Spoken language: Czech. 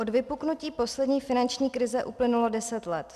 Od vypuknutí poslední finanční krize uplynulo deset let.